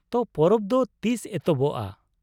ᱛᱚ, ᱯᱚᱨᱚᱵ ᱫᱚ ᱛᱤᱥ ᱮᱛᱚᱦᱚᱵᱚᱜᱼᱟ ?